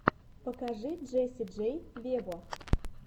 покажи джесси джей вево